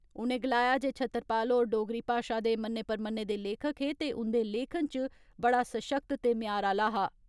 उनें गलाया जे छतरपाल होर डोगरी भाषा दे मन्ने परमने दे लेखक हे ते उंदे लेखन इच बड़ा सशक्त ते म्यार आला हा।